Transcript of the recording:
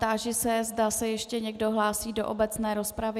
Táži se, zda se ještě někdo hlásí do obecné rozpravy.